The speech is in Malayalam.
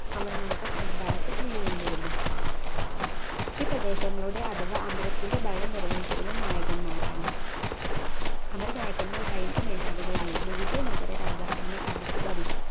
അമർ നായക സമ്രദായത്തിൽ നിലനിന്നിരുന്നു ഈ പ്രദേശങ്ങളുടെ അഥവാ അമരത്തിൻറെ ഭരണം നിർവഹിച്ചിരുന്നത് നായകൻന്മാരാണ് അമര നായകന്മാർർ സൈനിക മേധാവികളായിരുന്നു വിജയ നഗര രാജാക്കന്മാർ അവർക്ക് ഭരി